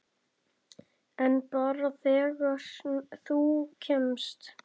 En bara þegar þú kemst.